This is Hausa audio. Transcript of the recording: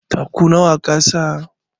Taku nawa kasa?